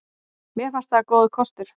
Mér fannst það góður kostur.